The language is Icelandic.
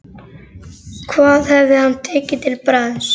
Hvað hefði hann tekið til bragðs?